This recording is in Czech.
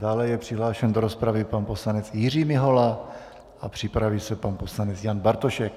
Dále je přihlášen do rozpravy pan poslanec Jiří Mihola a připraví se pan poslanec Jan Bartošek.